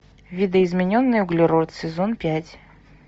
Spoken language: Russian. видоизмененный углерод сезон пять